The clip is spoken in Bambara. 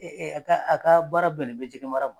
a ka a ka baara bɛnnen be jɛgɛ mara m